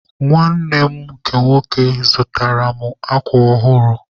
Nwanne m nke nwoke zụtaara mụ akwa ọhụrụ.